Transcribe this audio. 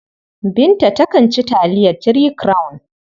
Binta takan ci taliyar Three Crown.